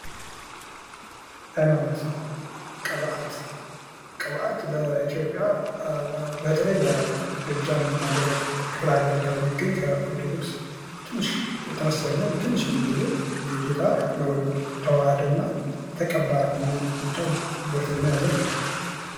ሀይማኖት ቅብአት ቅብአት በኢትዮጵይ በተለይ በጎጃም ክፍለ ሀገር አካባቢ የሚገኝ ከኦርቶዶክስ ተመሳሳይ ሁኖ ትንሽ የሚለየው የጌታ ተዋሀደ እና ተቀባ የሚል ብቻ ዶክትሪን የያዘ ነው።